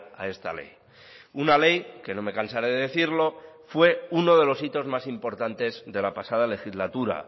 a esta ley una ley que no me cansaré de decirlo fue uno de los hitos más importantes de la pasada legislatura